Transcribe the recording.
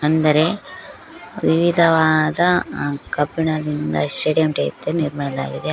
ಅಂದರೆ ವಿವಿಧವಾದ ಕಬ್ಬಿಣದಿಂದ ಸ್ಟೇಡಿಯಂ ಟೈಪ್ ನಿರ್ಮಾಣದ್ದಾಗಿದೆ.